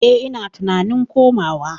Eh ina tunanin komawa.